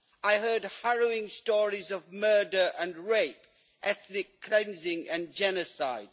I heard harrowing stories of murder and rape, ethnic cleansing and genocide.